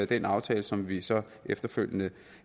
den aftale som vi så efterfølgende